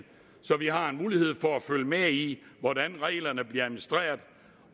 så vi har mulighed for at følge med i hvordan reglerne bliver administreret